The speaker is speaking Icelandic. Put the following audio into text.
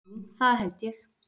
Jú það held ég.